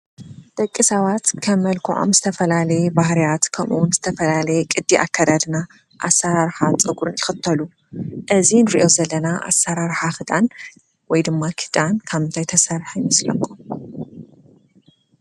ደቂ ሰባት ከም መልክዖም ዝተፈላለየ ባህርያት ከምውን ዝተፈላለየ ቕዲ ኣካዳድና ኣሠራርሓ ጸጕርን ይኽተሉ፡፡ እዚ ንርእዮ ዘለና ኣሠራርሓ ክዳን ወይ ድማ ኽዳን ካብ ምንታይ ዝተሰርሐ ይመስለኩም?